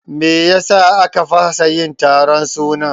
Meyasa a ka fasa yin taron sunan?